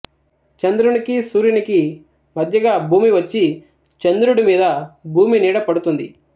చంద్రునికి సూర్యునికి మధ్యగా భూమి వచ్చి చంద్రుడి మీద భూమి నీడ పడుతుంది